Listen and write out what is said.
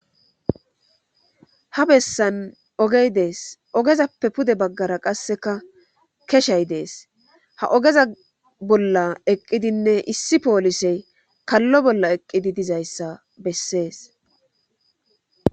ha bessan ogey dees ogezappe pude baggara qasseka keshay dees ha ogeza bolla eqqidinne issi poolisey kallo bolla eqqidi dizayssa bessees